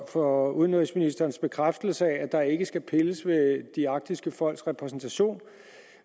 for udenrigsministerens bekræftelse af at der ikke skal pilles ved de arktiske folks repræsentation